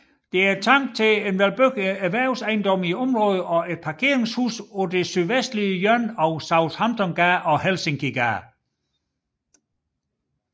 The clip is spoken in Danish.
Det er tanken at bygge erhvervsejendomme i området og et parkeringshus på det sydvestlige hjørne af Southamptongade og Helsinkigade